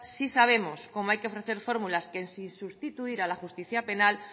sí sabemos cómo hay que ofrecer fórmulas que sin sustituir a la justicia penal